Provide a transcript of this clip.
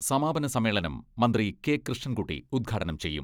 സമാപനസമ്മേളനം മന്ത്രി കെ.കൃഷ്ണൻകുട്ടി ഉദ്ഘാടനം ചെയ്യും.